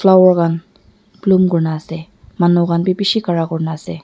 bloom kurina ase manu khan bi bishi khara kurna ase.